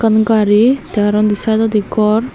gari tey aro undi saaidodi gor.